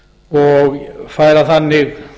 og færa þannig